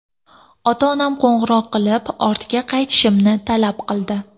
Ota-onam qo‘ng‘iroq qilib, ortga qaytishimni talab qildi.